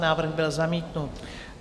Návrh byl zamítnut.